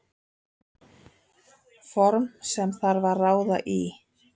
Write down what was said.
Form sem þarf að ráða í.